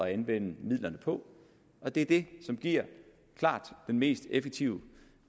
at anvende midlerne på og det er det som giver klart den mest effektive